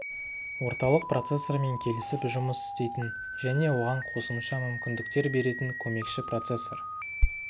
орталық процессормен келісіп жұмыс істейтін және оған қосымша мүмкіндіктер беретін көмекші процессор